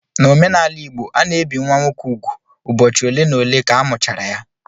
N' omenala igbo, a na-ebi nwa nwoke úgwù ụbọchị ole na ole ka amụchara ya